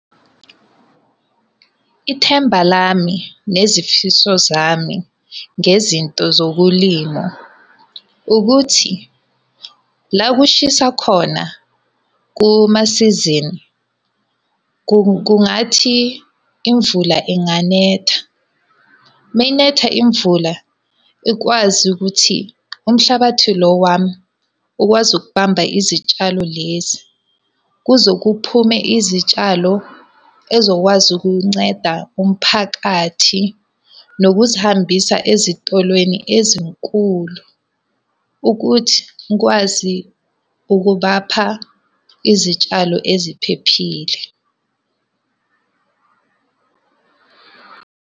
Ithemba lami, nezifiso zami, ngezinto zokulima, ukuthi la kushisa khona kumasizini kungathi imvula inganetha. Uma inetha imvula ikwazi ukuthi umhlabathi lo wami ukwazi ukubamba izitshalo lezi, kuze kuphume izitshalo ezokwazi ukunceda umphakathi nokuzihambisa ezitolweni ezinkulu ukuthi ngikwazi ukubapha izitshalo eziphephile.